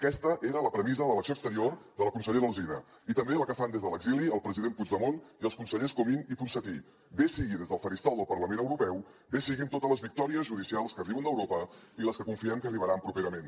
aquesta era la premissa de l’acció exterior de la consellera alsina i també la que fan des de l’exili el president puigdemont i els consellers comín i ponsatí bé sigui des del faristol del parlament europeu bé sigui amb totes les victòries judicials que arriben d’europa i les que confiem que arribaran properament